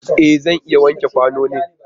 E! Zan iya wanke kwanonin.